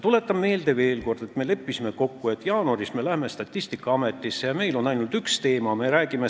Tuletan veel kord meelde, et me leppisime kokku, et me läheme jaanuaris Statistikaametisse ja meil on ainult üks teema, millest me räägime.